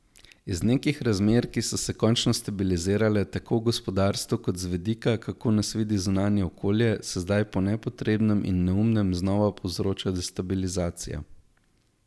Iz nekih razmer, ki so se končno stabilizirale, tako v gospodarstvu, kot z vidika, kako nas vidi zunanje okolje, se zdaj po nepotrebnem in neumnem znova povzroča destabilizacija.